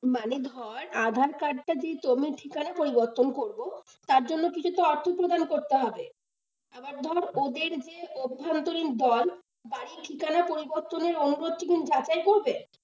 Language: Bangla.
মানে ধর aadhaar card টা যেহেতু আমি ঠিকানা পরিবর্তন করব তার জন্য কিছুতো অর্থ প্রদান করতে হবে, আবার ধর ওদের যে অভ্যন্তরীণ দল বাড়ির ঠিকানা পরিবর্তনের অনুরোধকে কি যাচাই করবে?